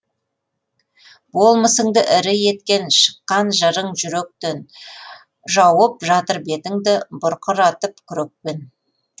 болмысыңды ірі еткен шыққан жырың жүректен жауып жатыр бетіңді бұрқыратып күрекпен